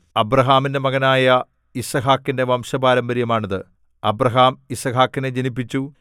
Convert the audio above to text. അബ്രാഹാമിന്റെ മകനായ യിസ്ഹാക്കിന്റെ വംശപാരമ്പര്യമാണിത് അബ്രാഹാം യിസ്ഹാക്കിനെ ജനിപ്പിച്ചു